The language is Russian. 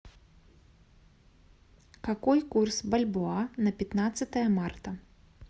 какой курс бальбоа на пятнадцатое марта